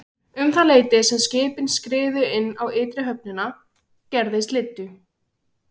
Um það leyti sem skipin skriðu inn á ytri höfnina gerði slyddu.